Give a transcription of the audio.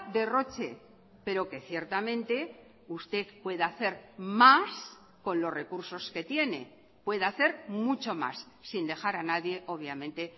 derroche pero que ciertamente usted pueda hacer más con los recursos que tiene pueda hacer mucho más sin dejar a nadie obviamente